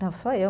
Não, só eu.